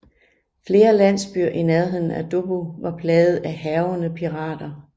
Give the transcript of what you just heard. Flere landsbyer i nærheden af Dobbo var plaget af hærgende pirater